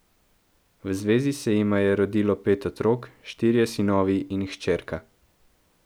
V zvezi se jima je rodilo pet otrok, štirje sinovi in hčerka.